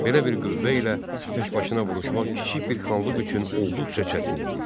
Belə bir qüvvə ilə təkbaşına vuruşmaq kiçik bir xanlıq üçün olduqca çətin idi.